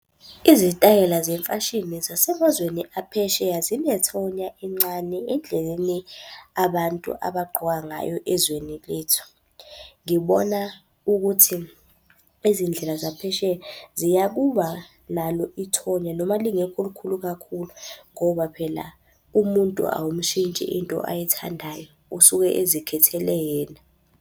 Izitayela zemfashini zasemazweni aphesheya zinethonya encane endleleni abantu abagqoka ngayo ezweni lethu. Ngibona ukuthi izindlela zaphesheya ziya kuba nalo ithonya noma lingekho likhulu kakhulu ngoba phela umuntu awumushintshi into ayithandayo, usuke ezikhethele yena.